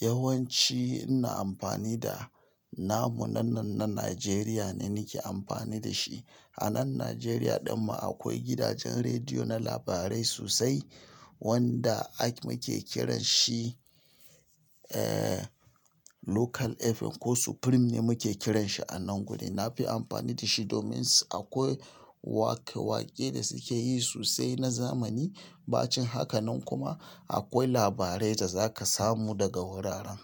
Yawanci ina amfani da namu na nan na Nigeriya ne nake amfani da shi. A nan Nigeriya dinmu akwai gidajen rediyo na labarai sosai wanda ake kiran shi Local FM ko Supreme ne muke kiran shi a nan gurin. Na fi amfani da shi domin akwai waƙe-waƙe da suke yi sosai na zamani. Ba cikin haka nan kuma akwai labarai da za ka samu daga wuraren.